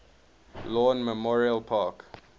lawn memorial park